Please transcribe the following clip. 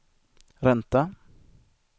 ränta